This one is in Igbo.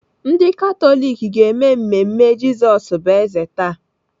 Ndị Katọlik ga-eme mmemme Jizọs bụ eze taa.